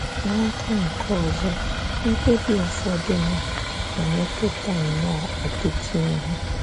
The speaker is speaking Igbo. N’aka nke ọzọ, mkpebi ụfọdụ na - emetụta nnọọ ọtụtụ ihe.